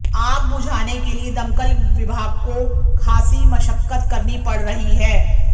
आग बुझाने के लिए दमकल विभाग को खासी मशक्कत करनी पड़ रही है